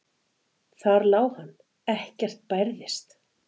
Þar lá hann, ekkert bærðist.